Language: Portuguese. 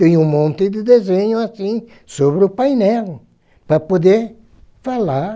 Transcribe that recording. Tenho um monte de desenho assim sobre o painel para poder falar